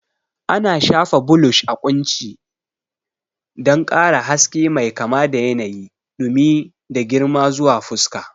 Ana shafa blush a kunci don ƙara haske mai kama da yanayi, dumi, da girma zuwa fuska.